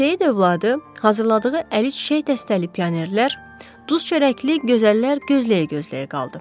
Seyid övladı hazırladığı əl çiçək dəstəli pionerlər, duz-çörəkli gözəllər gözləyə-gözləyə qaldı.